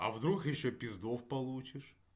а вдруг ещё пиздов получишь